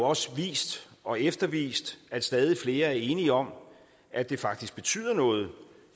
også vist og eftervist at stadig flere er enige om at det faktisk betyder noget